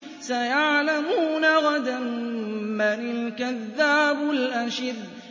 سَيَعْلَمُونَ غَدًا مَّنِ الْكَذَّابُ الْأَشِرُ